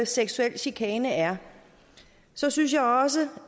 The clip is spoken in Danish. seksuel chikane er så synes jeg også